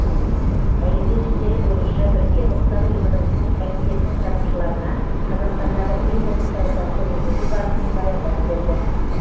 әйелдер істері бойынша біріккен ұлттар ұйымының комитетінің сарапшыларына қазақстандағы гендерлік саясатты жүргізу барысын баяндап берді